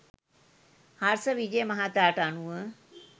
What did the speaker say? හර්ෂ විජය මහතාට අනුව